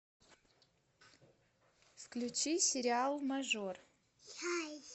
включи сериал мажор